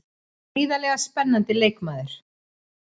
Gríðarlega spennandi leikmaður.